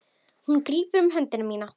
Hún grípur um hönd mína.